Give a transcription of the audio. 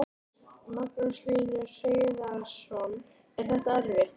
Magnús Hlynur Hreiðarsson: Er þetta erfitt?